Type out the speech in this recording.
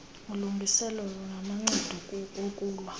ulungiselelo namacebo okulwa